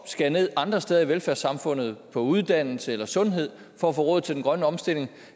skære ned andre steder i velfærdssamfundet for på uddannelse eller sundhed for at få råd til den grønne omstilling